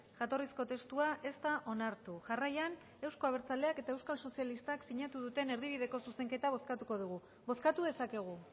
jatorrizko testua ez da onartu jarraian euzko abertzaleak eta euskal sozialistak sinatu duten erdibideko zuzenketa bozkatuko dugu bozkatu dezakegu